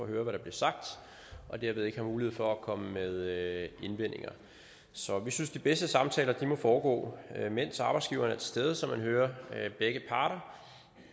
høre hvad der bliver sagt og derved ikke har mulighed for at komme med indvendinger så vi synes de bedste samtaler må foregå mens arbejdsgiveren er til stede så man hører begge parter